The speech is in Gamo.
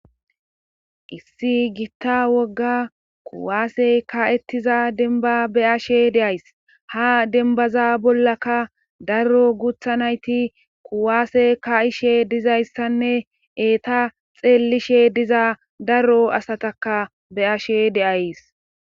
issi gitta wogga kuwaasey ka7ettiza denba be7ashe de7ays ha dembaza bollaka daro gutha nayti kuwaase ka7ishe dizayssanne eeta xeellishe diza daro asataka be7ashe de7ays.